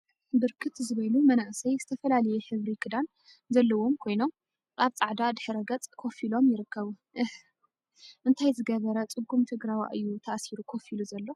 ብርክት ዝበሉ መናእሰይ ዝተፈላለየ ሕብሪ ክዳን ዘለዎም ኮይኖም፤ አብ ፃዕዳ ድሕረ ገፅ ኮፍ ኢሎም ይርከቡ፡፡ አህ….. እንታይ ዝገበረ ፅጉም ትግራዋይ እዩ ተአሲሩ ኮፍ ኢሉ ዘሎ፡፡